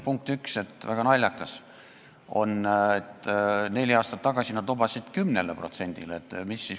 Punkt 1: väga naljakas on, et neli aastat tagasi nad lubasid alandada 10%-le.